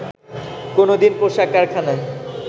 কোনো দিন পোশাক কারখানায়